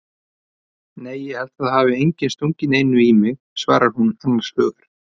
Nei ég held að það hafi enginn stungið neinu í mig, svarar hún annars hugar.